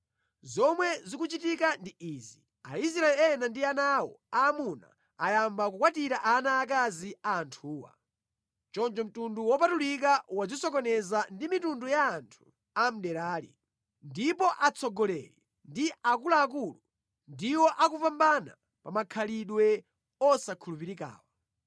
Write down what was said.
Zomwe zikuchitika ndi izi. Aisraeli ena ndi ana awo aamuna anayamba kukwatira ana aakazi a anthuwa. Choncho mtundu wopatulika wadzisokoneza ndi mitundu ya anthu a mʼderali. Ndipo atsogoleri ndi akuluakulu ndiwo akupambana pa makhalidwe osakhulupirikawa.”